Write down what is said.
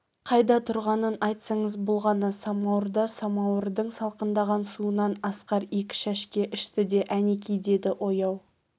қайда тұрғанын айтсаңыз болғаны самауырда самауырдың салқындаған суынан асқар екі шәшке ішті де әнеки деді ояу